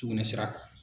Sugunɛ sira kan